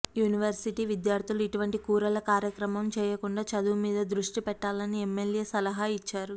university విద్యార్థులు ఇటువంటి కూరల కార్యక్రమాలు చేయకుండా చదువు మీద దృష్టి పెట్టాలని ఎమ్మెల్యే సలహా ఇచ్చారు